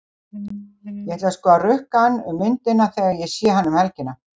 Ég ætla sko að rukka hann um myndina þegar ég sé hann um helgina.